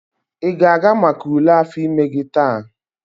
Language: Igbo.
ị ga-aga maka ule afọ ime gị taa?